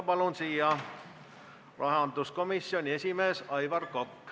Palun siia rahanduskomisjoni esimehe Aivar Koka!